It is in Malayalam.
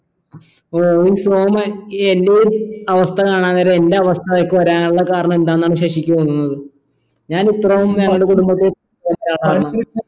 അഹ് ഈ സോമൻ എൻ്റെയും അവസ്ഥ കാണാൻ നേരം എൻ്റെ അവസ്ഥകൾക്ക് വരാനുള്ള കാരണെന്താണെന്നാണ് ശശിക്ക് തോന്നുന്നത് ഞാൻ ഇത്രയൊന്നും